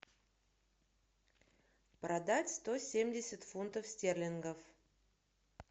продать сто семьдесят фунтов стерлингов